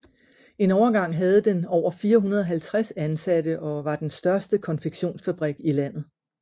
En overgang havde den over 450 ansatte og var den største konfektionsfabrik i landet